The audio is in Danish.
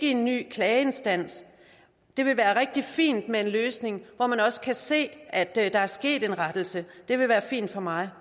en ny klageinstans det vil være rigtig fint med en løsning hvor man også kan se at der er sket en rettelse det vil være fint for mig